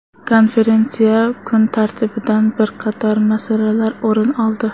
Konferensiya kun tartibidan bir qator masalalar o‘rin oldi.